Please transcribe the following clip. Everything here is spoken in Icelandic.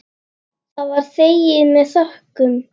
Það var þegið með þökkum.